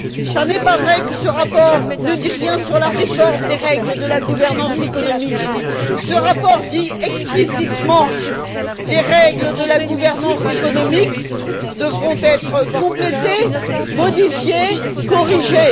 Ce n'est pas vrai que ce rapport ne dit rien sur la réforme des règles de la gouvernance économique. Ce rapport dit explicitement que les règles de la gouvernance économique devront être complétées, modifiées et corrigées.